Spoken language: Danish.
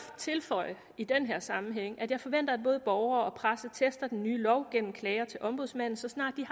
tilføje i den her sammenhæng at jeg forventer at både borgere og presse tester den nye lov gennem klager til ombudsmanden så snart de